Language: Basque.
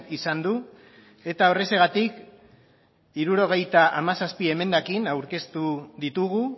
izan du eta horrexegatik hirurogeita hamazazpi emendakin aurkeztu ditugu